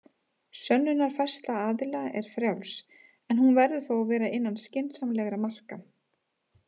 Sönnunarfærsla aðila er frjáls, en hún verður þó að vera innan skynsamlegra marka.